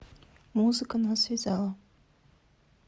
музыка нас связала